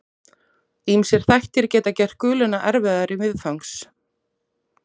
Ýmsir þættir geta gert guluna erfiðari viðfangs.